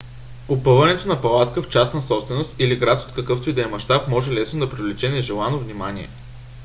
опъването на палатка в частна собственост или в град от какъвто и да е мащаб може лесно да привлече нежелано внимание